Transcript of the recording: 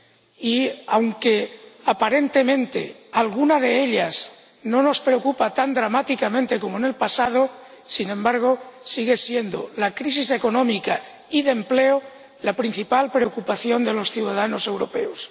Y aunque aparentemente alguna de ellas no nos preocupa tan dramáticamente como en el pasado, sigue siendo, sin embargo, la crisis económica y de empleo la principal preocupación de los ciudadanos europeos.